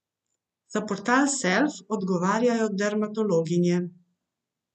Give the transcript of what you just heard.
Za portal Self odgovarjajo dermatologinje.